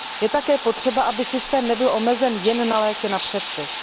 Je také potřeba, aby systém nebyl omezen jen na léky na předpis.